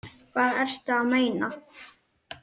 Hvað ertu að meina?